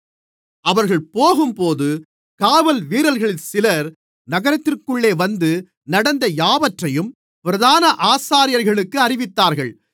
அவர்கள் போகும்போது காவல்வீரர்களில் சிலர் நகரத்திற்குள்ளே வந்து நடந்த யாவற்றையும் பிரதான ஆசாரியர்களுக்கு அறிவித்தார்கள்